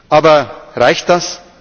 Aber reicht